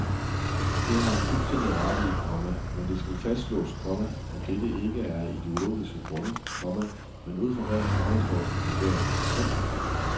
Det har han fuldstændig ret i, komma men det skal fastslås, komma at dette ikke er af ideologiske grunde, komma men ud fra rent faghistoriske vurderinger. punktum